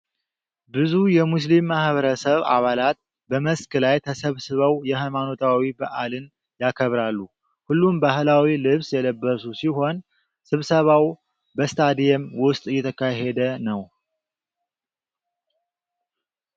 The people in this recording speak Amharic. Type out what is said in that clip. ብዙ የሙስሊም ማኅበረሰብ አባላት በመስክ ላይ ተሰብስበው የሃይማኖታዊ በዓልን ያከብራሉ። ሁሉም ባህላዊ ልብስ የለበሱ ሲሆን፣ ስብሰባው በስታዲየም ውስጥ እየተካሄደ ነው።